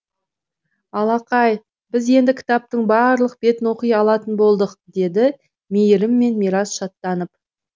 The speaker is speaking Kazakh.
алақай біз енді кітаптың барлық бетін оқи алатын болдық дейді мейірім мен мирас шаттанып